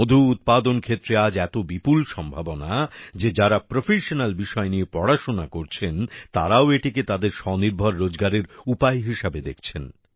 মধু উৎপাদন ক্ষেত্রে আজ এত বিপুল সম্ভাবনা যে যারা প্রোফেসনাল বিষয় নিয়ে পড়াশোনা করছেন তারাও এটিকে তাদের স্বনির্ভর রোজগারের উপায় হিসেবে দেখছেন